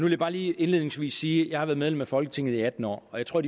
jeg bare lige indledningsvis sige at jeg har været medlem af folketinget i atten år og jeg tror